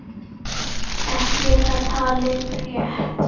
Ekki er það talið rétt.